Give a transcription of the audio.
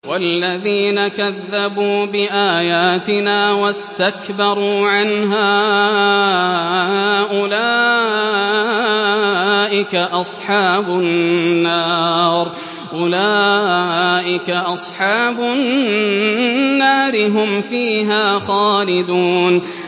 وَالَّذِينَ كَذَّبُوا بِآيَاتِنَا وَاسْتَكْبَرُوا عَنْهَا أُولَٰئِكَ أَصْحَابُ النَّارِ ۖ هُمْ فِيهَا خَالِدُونَ